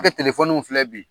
Bɛɛ bɛ filɛ bi.